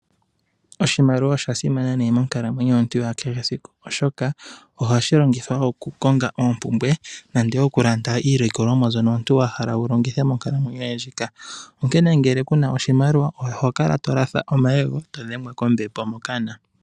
Oshimaliwa osha simana ne monkalamwenyo yomuntu ya kehe esiku oshoka oho shi longithwa okukonga oopumbwe nande wo okulanda iilikolomwa nzono omuntu wa hala wu longitha monkalamwenyo yoye ndjika. Onkene ngele kuna oshimaliwa oho kala to latha omayego to dhengwa kombepo mokana.